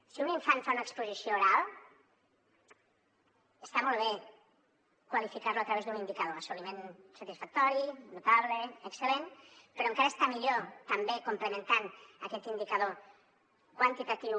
si un infant fa una exposició oral està molt bé qualificar lo a través d’un indicador assoliment satisfactori notable excel·lent però encara està millor també complementant aquest indicador quantitatiu